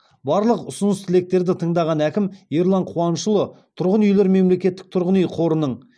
барлығ ұсыныс тілектерді тыңдаған әкім ерлан қуанышұлы тұрғын үйлер мемлекеттік тұрғын үй қорының